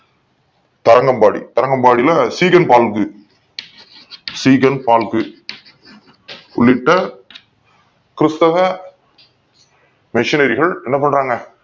கரணம் பாடி கர்ணம்பாடியில உள்ளிட்ட கிறிஸ்தவ மிஷனரிகள் என்ன பண்றாங்க